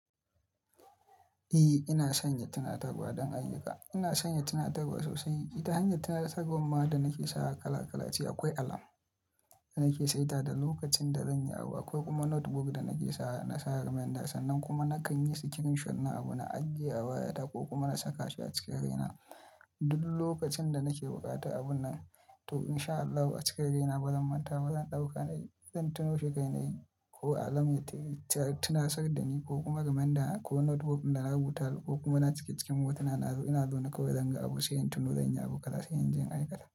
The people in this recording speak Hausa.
Eh ina sanya tunatarwa don ayyuka. Ina sanya tunatarwa sosai. Da hanyar tunatarwar ma da nake sawa kala kala ce akwai alarm da nake saita da lokacin da zanyi abu akwai kuma notebook da nake sawa na sa reminder sannan kuma nakan yi screenshot na abu na ajiye a wayata ko kuma na saka shi a cikin kaina. Duk lokacin da nake buƙata abun nan to in sha Allah a cikin raina bazan manta ba zan ɗauka ne, zan tuno shi a kaina ne ko alarm ya tunasar da ni ko kuma reminder ko notebook ɗin da na rubuta ko kuma na cike cikin hotunana ina zaune kawai zanga abu sai in tuno zanyi abu kaza sai inje in aikata.